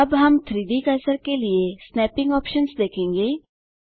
अब हम 3Dकर्सर के लिए स्नैपिंग ऑप्शन्स देखेंगे